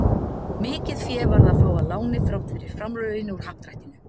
Mikið fé varð að fá að láni þrátt fyrir framlögin úr Happdrættinu.